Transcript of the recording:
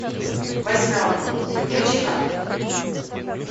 восьмерка включи ка